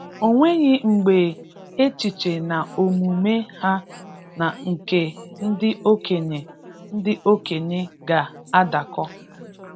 O nweghị mgbe echiche na omume ha na nke ndị okenye ndị okenye ga-adakọ